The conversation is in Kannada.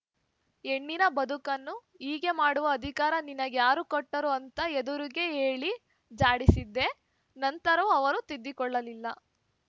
ಹೆಣ್ಣಿನ ಬದುಕನ್ನು ಹೀಗೆ ಮಾಡುವ ಅಧಿಕಾರ ನಿನಗ್ಯಾರು ಕೊಟ್ಟರು ಅಂತ ಎದುರಿಗೇ ಹೇಳಿ ಝಾಡಿಸಿದ್ದೆ ನಂತರವೂ ಅವರು ತಿದ್ದಿಕೊಳ್ಳಲಿಲ್ಲ